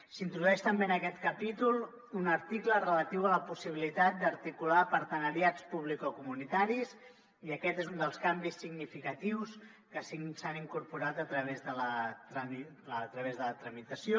s’introdueix també en aquest capítol un article relatiu a la possibilitat d’articular partenariats publicocomunitaris i aquest és un dels canvis significatius que s’han incorporat a través de la tramitació